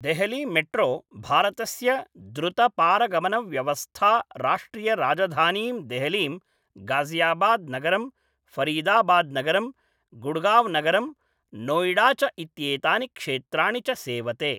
देहलीमेट्रो भारतस्य द्रुतपारगमनव्यवस्था राष्ट्रियराजधानीं देहलीं, गाजियाबाद् नगरं, फ़रीदाबाद् नगरं, गुड़गाव् नगरं, नोएडा च इत्येतानि क्षेत्राणि च सेवते।